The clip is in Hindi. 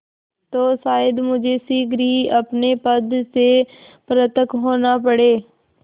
तो शायद मुझे शीघ्र ही अपने पद से पृथक होना पड़े